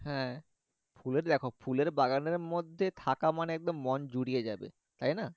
হ্যাঁ ফুলের দ্যাখো ফুলের বাগানের মর্ধে থাকা মানে থাকা মানে একদম মন জুড়ে যাচ্ছে তাইনা